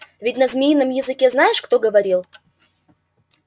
ведь на змеином языке знаешь кто говорил